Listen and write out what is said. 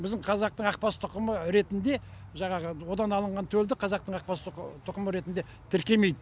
біздің қазақтың ақбас тұқымы ретінде жаңағы одан алынған төлді қазақтың ақбас тұқымы ретіне тіркемейді